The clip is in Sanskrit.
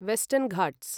वेस्टर्न् घाट्स्